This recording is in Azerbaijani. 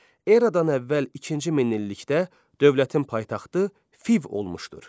Eradan əvvəl ikinci minillikdə dövlətin paytaxtı Fiv olmuşdur.